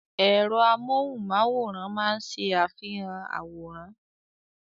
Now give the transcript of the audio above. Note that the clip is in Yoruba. Ẹ̀rọ amóhùnmáwòrán máa ń ṣe àfihàn àwòrán.